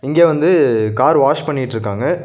இங்க வந்து car wash பண்ணிட்ருக்காங்க.